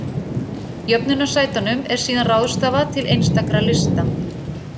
Jöfnunarsætunum er síðan ráðstafað til einstakra lista.